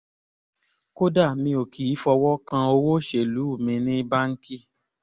kódà mi ò kì í fọwọ́ kan owó-oṣù mi ní báńkì